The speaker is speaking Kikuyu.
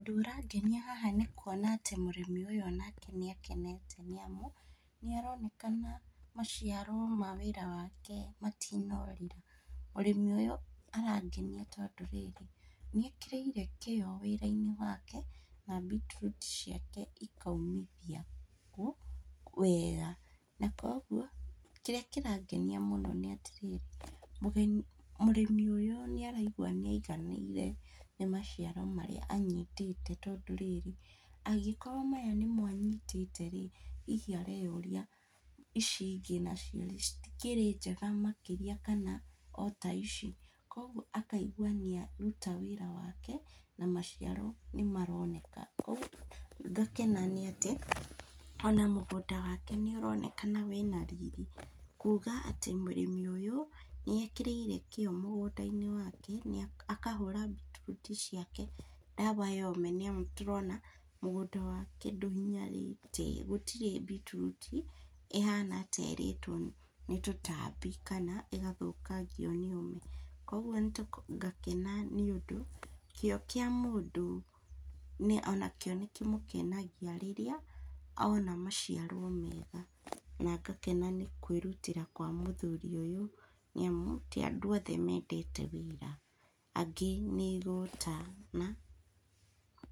Ũndũ ũrangenia haha nĩkuona atĩ mũrĩmi ũyũ onake nĩakenete nĩamu, nĩaronekana maciaro ma wĩra wake matinorĩra, mũrĩmi ũyũ arangenia tondũ rĩrĩ, nĩekĩrĩire kĩo wĩra-inĩ wake na beetroot ciake ikaumithia wega, na koguo, kĩrĩa kĩrangenia mũno nĩatĩrĩrĩ, mũrĩmi ũyũ nĩaraigua nĩaiganĩire nĩ maciaro marĩa anyitĩte tondũ rĩrĩ, angĩkorwo maya nĩmo anyitĩte rĩ, hihi areyũria, ici ingĩ nacio citikĩrĩnjega makĩria kana o ta ici, koguo akaigua nĩaruta wĩra wake, na maciaro nĩmaroneka, ko ngakena nĩatĩ, ona mũgũnda wake nĩũronekana wĩna riri, kuga atĩ mũrĩmi ũyũ, nĩekĩrĩire kĩo mũgũnda-inĩ wake nĩa, akahũra beetroot ciake, ndawa ya ũme nĩamu tũrona, mũgũnda wake ndũhinyarĩte, gũtirĩ beetroot ĩhana ta ĩrĩtwo nĩ tũtambi kana ĩgathũkangio nĩ ũme, koguo , ngakena nĩũndũ, kĩo kĩa mũndũ onakĩo nĩkĩmũkenagia rĩrĩa ona maciaro mega, na ngakena nĩ kwĩrutĩra kwa mũthuri ũyũ, nĩamu, ti andũ othe mendete wĩra, angĩ nĩ igũta ma.